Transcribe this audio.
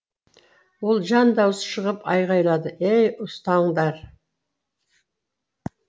ол жан даусы шығып айғайлады ей ұстаңдар